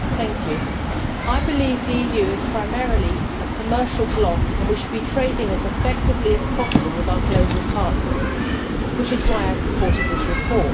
Mr President, I believe the EU is primarily a commercial block and we should be trading as effectively as possible with our global partners, which is why I supported this report.